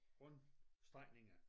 Runde strækninger